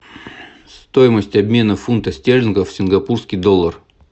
стоимость обмена фунта стерлинга в сингапурский доллар